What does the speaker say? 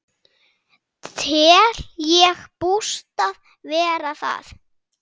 Tel ég bústað vera það.